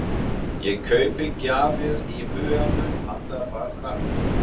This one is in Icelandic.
Ég kaupi gjafir í huganum handa barnakórnum okkar.